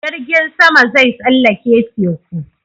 Jirgin sama zai tsallake teku